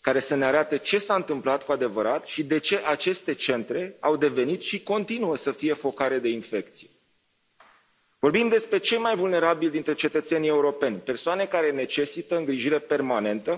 care să ne arate ce s a întâmplat cu adevărat și de ce aceste centre au devenit și continuă să fie focare de infecție. Vorbim despre cei mai vulnerabili dintre cetățenii europeni, persoane care necesită îngrijire permanentă,